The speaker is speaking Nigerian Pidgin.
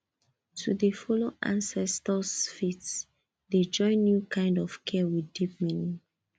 to dey follow ancestors faith dey join new kind of care with deep meaning